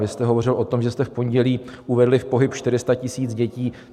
Vy jste hovořil o tom, že jste v pondělí uvedli v pohyb 400 000 dětí.